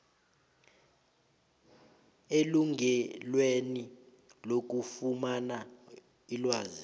elungelweni lokufumana ilwazi